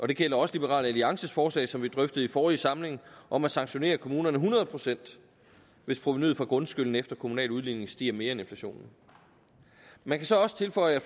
det gælder også liberal alliances forslag som vi drøftede i forrige samling om at sanktionere kommunerne hundrede pct hvis provenuet for grundskylden efter kommunal udligning stiger mere end inflationen man kan så også tilføje